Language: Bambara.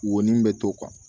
Wo ni bɛ to